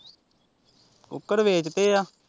ਕੁੱਕੜ ਵੇਚਤੇ ਆ।